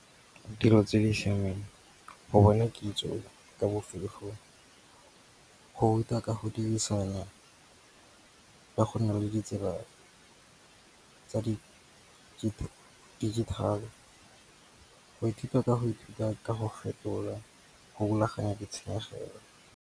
Ditiro tse di siameng. Go bona kitso ka go ruta ka go dirisana ka go nNa le ditsela tsa digital. Go ithuta ka go ithuta ka go fetola. Go rulaganya di tshenyegelo.